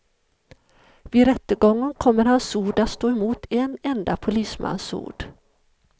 Vid rättegången kommer hans ord att stå mot en enda polismans ord.